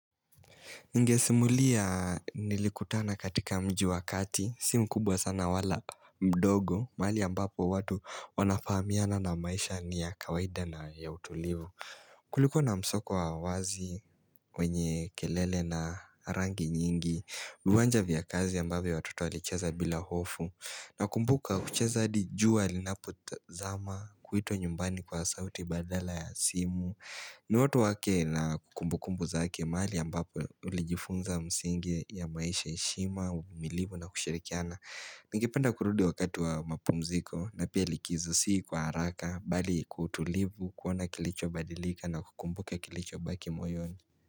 Ningesimulia nilikutana katika mji wakati, simu kubwa sana wala mdogo, mahali ambapo watu wanafahamiana na maisha ni ya kawaida na ya utulivu kuliko na msoko wa wazi, wenye kelele na rangi nyingi, uwanja vya kazi ambavyo watoto alicheza bila hofu na kumbuka kucheza hadi jua linapo zama kuitwa nyumbani kwa sauti badala ya simu Nooto wake na kukumbu kumbu zake mahali ambapo uli jifunza msingi ya maisha heshima, uvumilivu na kushirikiana Ningependa kurudi wakati wa mapumziko na pia likizo sii kwa haraka bali kwautulivu kuona kilicho badilika na kukumbuko kilicho baki moyoni.